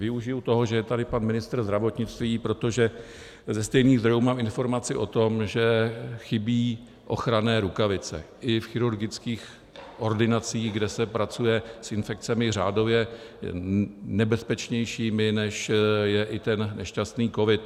Využiji toho, že je tady pan ministr zdravotnictví, protože ze stejných zdrojů mám informaci o tom, že chybí ochranné rukavice i v chirurgických ordinacích, kde se pracuje s infekcemi řádově nebezpečnějšími, než je i ten nešťastný covid.